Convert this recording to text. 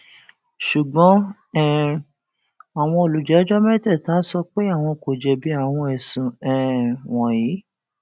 ṣùgbọn um àwọn olùjẹjọ mẹtẹẹta sọ pé àwọn kò jẹbi àwọn ẹsùn um wọnyí